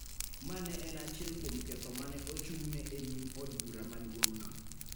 ma ne en achiel kuom ketho ma ne ochung�ne e nyim od bura maduong�no.